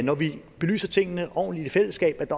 når vi belyser tingene ordentligt i fællesskab